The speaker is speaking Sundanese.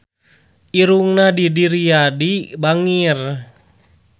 Irungna Didi Riyadi bangir